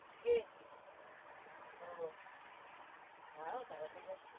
কে? ও যাও তারাপীঠ